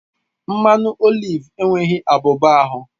Mmanụ oliv enweghị abuba ahu